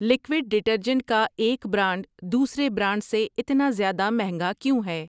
Liquid detergent کا ایک brand دوسرے برانڈ سے اتنا زیادہ مہنگا کیوں ہے؟